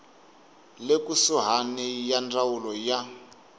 le kusuhani ya ndzawulo ya